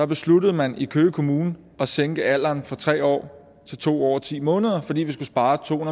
besluttede man i køge kommune at sænke alderen fra tre år til to år og ti måneder fordi vi skulle spare to